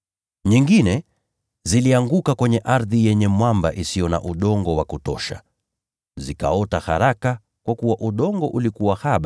Nyingine zilianguka kwenye ardhi yenye mwamba isiyo na udongo wa kutosha. Zikaota haraka, kwa kuwa udongo ulikuwa haba.